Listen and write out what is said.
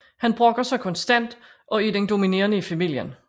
Han brokker sig konstant og er den dominerende i familien